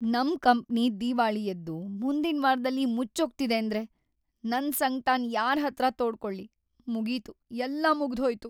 ನಮ್‌ ಕಂಪ್ನಿ ದಿವಾಳಿಯೆದ್ದು ಮುಂದಿನ್ವಾರ್ದಲ್ಲಿ ಮುಚ್ಚೋಗ್ತಿದೇಂದ್ರೆ ನನ್‌ ಸಂಕ್ಟನ್ ಯಾರ್ಹತ್ರ ತೋಡ್ಕೊಳ್ಳಿ, ಮುಗೀತು, ಎಲ್ಲ ಮುಗ್ದ್‌ಹೋಯ್ತು.